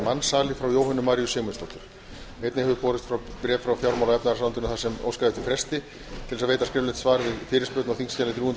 mansali frá jóhönnu maríu sigmundsdóttur einnig hefur borist bréf frá fjármála og efnahagsráðuneytinu þar sem óskað er eftir fresti til að veita skriflegt svar við fyrirspurn á þingskjali þrjú hundruð